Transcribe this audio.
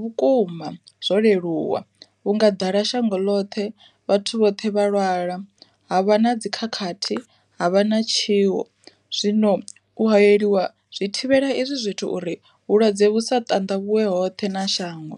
vhukuma zwo leluwa, vhunga ḓala shango ḽoṱhe vhathu vhoṱhe vha lwala, ha vha na dzi khakhathi ha vha na tshiwo, zwino u hayeliwa zwi thivhela izwi zwithu uri vhulwadze vhu sa ṱanḓavhuwe hoṱhe na shango.